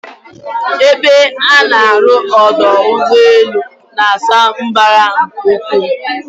Ebe a na-arụ ọdọ ụgbọelu na-asa mbara nke ukwuu.